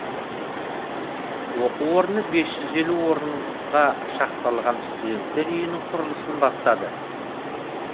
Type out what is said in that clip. оқу орны бес жүз елу орынға шақталған студенттер үйінің құрылысын бастады